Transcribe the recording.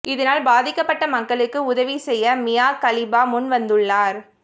இதனால் பாதிக்கப்பட்ட மக்களுக்கு உதவி செய்ய மியா கலிபா முன் வந்துள்ளார்